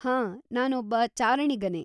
ಹಾಂ, ನಾನೊಬ್ಬ ಚಾರಣಿಗನೇ.